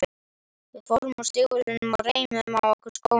Við fórum úr stígvélunum og reimuðum á okkur skóna.